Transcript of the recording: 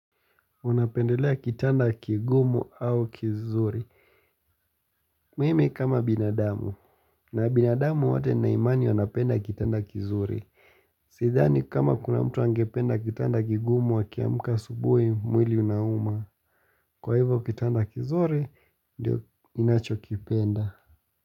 Unapendelea kitanda kigumu au kizuri. Mimi kama binadamu. Na binadamu wote naimani wanapenda kitanda kizuri. Sidhani kama kuna mtu angependa kitanda kigumu akiamka asubui mwili unauma. Kwa hivyo kitanda kizuri, ndio inacho kipenda.